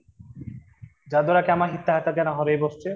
ଯାଦ୍ଵାରା କାମାସକ୍ତ ତାଙ୍କ ଦ୍ୱାରା ହରେଇ ବସିଛେ